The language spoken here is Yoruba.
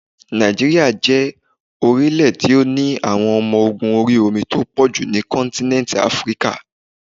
Nàìjíríà jẹ́ orílẹ̀ tí ó ní àwọn ọmọ ogún orí omi tó pọ̀jù ní kọ́ntínẹ́ntì Áfríkà.